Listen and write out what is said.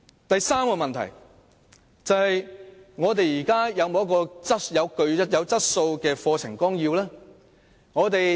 第三個問題是，現時有否具質素的課程綱要？